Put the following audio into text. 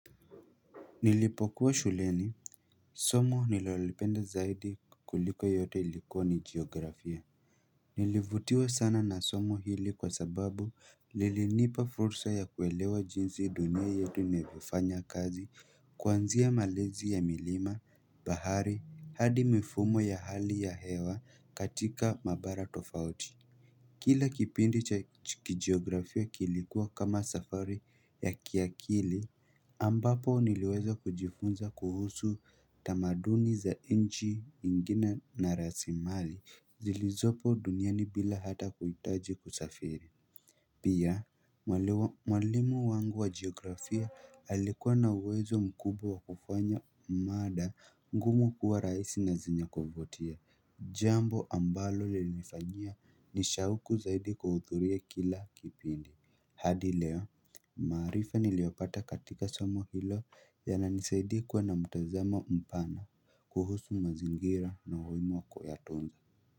Nilipokuwa shuleni, somo nililolipenda zaidi kuliko yote ilikuwa ni geografia Nilivutiwa sana na somo hili kwa sababu Lilinipa fursa ya kuelewa jinsi dunia yote inavyofanya kazi Kwanzia malezi ya milima, bahari, hadi mifumo ya hali ya hewa katika mabara tofauti Kila kipindi cha kijiografia kilikuwa kama safari ya kiakili ambapo niliweza kujifunza kuhusu tamaduni za nchi ingine na rasimali zilizopo duniani bila hata kuhitaji kusafiri Pia, mwali mwalimu wangu wa geografia alikuwa na uwezo mkubwa wa kufanya mada ngumu kuwa rahisi na zenye kuvutia Jambo ambalo lilinifanyia nishauku zaidi kuhudhuria kila kipindi hadi leo, maarifa niliyopata katika somo hilo yananisaidia kuwa na mtazamo mpana kuhusu mazingira na umuhimu wa kuyatunza.